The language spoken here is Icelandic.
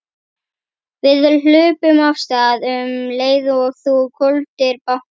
Við hlupum af stað um leið og þú hvolfdir bátnum.